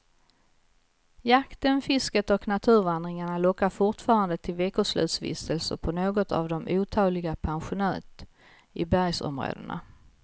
Jakten, fisket och naturvandringarna lockar fortfarande till veckoslutsvistelser på något av otaliga pensionat i bergsområdena.